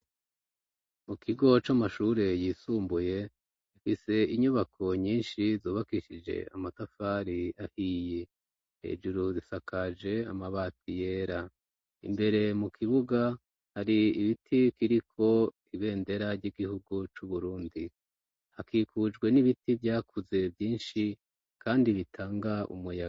Mu kigo c'amashure yisumbuye ifise inyubako nyinshi zubakishije amatafari ahiye hejuru zisakaje amabati yera imbere mu kibuga hari ibiti kiriko ibendera ry'igihugu c'uburundi hakikujwe n'ibiti vya akuze vyinshi, kandi bitanga umuyaga.